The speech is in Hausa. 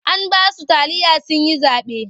An ba su taliya sun yi zaɓe.